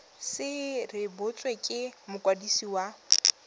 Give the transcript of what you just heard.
se rebotswe ke mokwadisi wa